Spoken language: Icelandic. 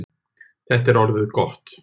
Þetta er orðið gott.